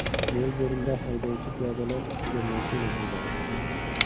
Melburnda haydovchi piyodalar ustiga mashina haydadi.